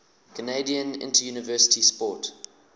canadian interuniversity sport